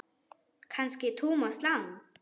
Kannski Thomas Lang.?